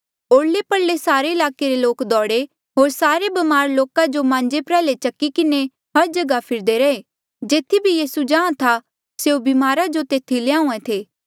ओरले परले सारे ईलाके रे लोक दौड़े होर सारे ब्मार लोका जो मांजे प्र्याह्ले चकी किन्हें हर जगहा फिरदे रहे जेथी भी यीसू जाहाँ था स्यों ब्मारा जो तेथी ल्याहूँआं ऐें थे